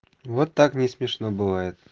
вот так не смешно бывает